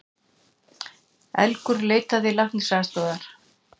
Elgur leitaði læknisaðstoðar